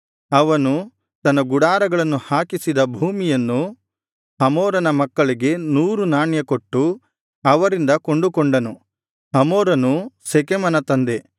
ಅವನು ತನ್ನ ಗುಡಾರಗಳನ್ನು ಹಾಕಿಸಿದ ಭೂಮಿಯನ್ನು ಹಮೋರನ ಮಕ್ಕಳಿಗೆ ನೂರು ನಾಣ್ಯ ಕೊಟ್ಟು ಅವರಿಂದ ಕೊಂಡುಕೊಂಡನು ಹಮೋರನು ಶೆಕೆಮನ ತಂದೆ